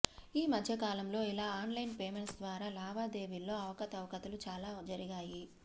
ఈ మధ్యకాలంలో ఇలా ఆన్లైన్ పేమెంట్స్ ద్వారా లావాదేవీల్లో అవకతవకలు చాలానే జరిగాయి